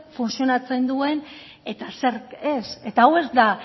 funtzionatzen duen eta zer ez eta hau ez da